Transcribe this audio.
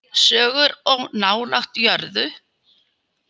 Sögur of nálægt jörðu.